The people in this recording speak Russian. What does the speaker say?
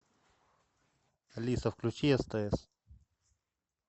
алиса включи стс